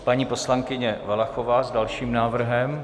Paní poslankyně Valachová s dalším návrhem.